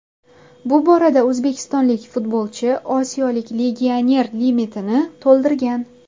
Bu borada o‘zbekistonlik futbolchi osiyolik legioner limitini to‘ldirgan.